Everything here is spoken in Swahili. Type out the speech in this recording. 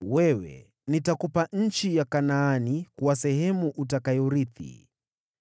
“Nitakupa wewe nchi ya Kanaani kuwa sehemu utakayoirithi.”